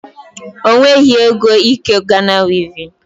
O nweghị ego ike Ghana wivin